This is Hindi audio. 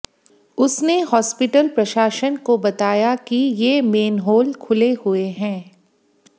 उसने हॉस्पिटल प्रशासन को बताया कि ये मेन होल खुले हुए हैं